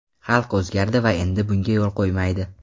Xalq o‘zgardi va endi bunga yo‘l qo‘ymaydi.